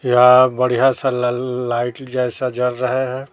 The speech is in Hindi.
यहां बढ़िया सा ल लाइट जैसा जल रहे हैं।